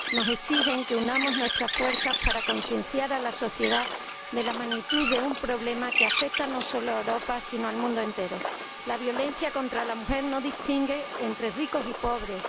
Nos exigen que unamos nuestras fuerzas para concienciar a la sociedad acerca de la magnitud de un problema que afecta no solo a Europa, sino al mundo entero. La violencia contra la mujer no distingue entre ricos y pobres.